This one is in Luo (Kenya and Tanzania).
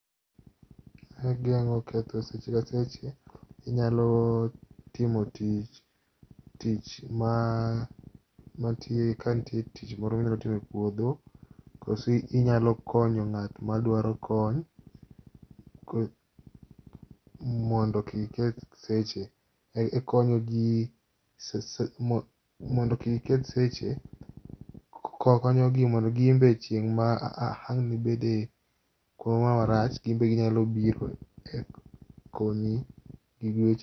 Ageng'o ketho seche ka seche, inyalo timo tich, tich ma matiye kantie tich moro minyalotimo e puodho. Koso inyalo konyo ng'at madwaro kony mondo kik keth seche. E konyo ji mondo kik keth seche konyogi mondo gin be chieng' ma ang'nibede kumoramora marach, gin be ginyalo biro konyi gi weche.